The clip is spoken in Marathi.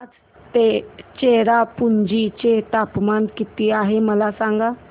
आज चेरापुंजी चे तापमान किती आहे मला सांगा